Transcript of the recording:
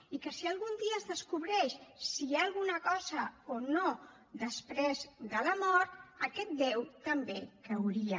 i que si algun dia es descobreix si hi ha alguna cosa o no després de la mort aquest déu també cauria